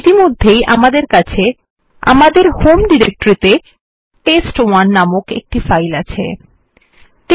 ইতিমধ্যে আমদের হোম ডিরেক্টরিতে টেস্ট1 নামক একটি ফাইল নামে আছে